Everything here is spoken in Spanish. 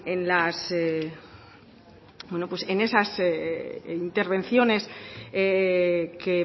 en esas intervenciones que